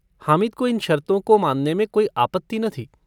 हामिद को इन शर्तों को मानने में कोई आपत्ति न थी।